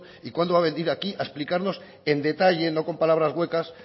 y cuándo va a venir a aquí a explicarnos en detalle no con palabras huecas